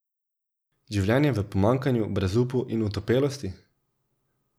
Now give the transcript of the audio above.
Življenje v pomanjkanju, brezupu in otopelosti?